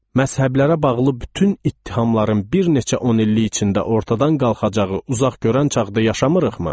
Məzhəblərə bağlı bütün ittihamların bir neçə 100 illik içində ortadan qalxacağı uzaqgörən çağda yaşamırıqmı?